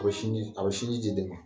A bɛ sinji a bɛ sinji ji den ma